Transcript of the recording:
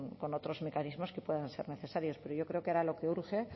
con otros mecanismos que puedan ser necesarios pero yo creo que ahora lo que urge